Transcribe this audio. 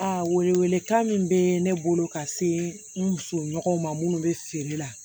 A welewelekan min bɛ ne bolo ka se n muso ɲɔgɔnw ma minnu bɛ feere la